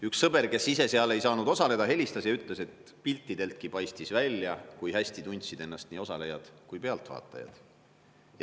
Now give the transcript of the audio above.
Üks sõber, kes ise seal ei saanud osaleda, helistas mulle ja ütles, et piltideltki paistis välja, kui hästi tundsid ennast nii osalejad kui ka pealtvaatajad.